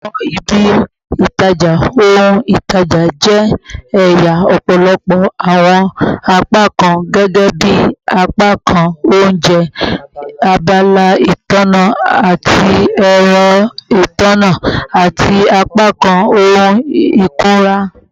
Awọn ibi-itaja ohun-itaja jẹ ẹya ọpọlọpọ awọn apakan gẹgẹbi apakan ounjẹ, abala itanna ati ẹrọ itanna, ati apakan ohun ikunra